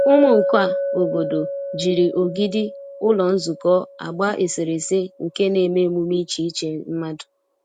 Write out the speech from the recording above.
Ụmụ nka obodo jiri ogidi ụlọ nzukọ agba eserese nke na-eme emume iche iche mmadụ.